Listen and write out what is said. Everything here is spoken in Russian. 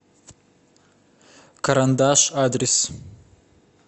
карандаш адрес